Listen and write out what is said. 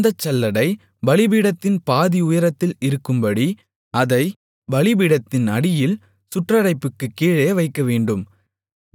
அந்தச் சல்லடை பலிபீடத்தின் பாதிஉயரத்தில் இருக்கும்படி அதை பலிபீடத்தின் அடியில் சுற்றடைப்புக்குக் கீழே வைக்கவேண்டும்